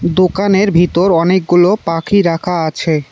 দোকানের ভিতর অনেকগুলো পাখি রাখা আছে।